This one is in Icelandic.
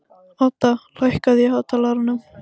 Odda, lækkaðu í hátalaranum.